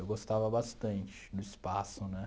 Eu gostava bastante do espaço, né?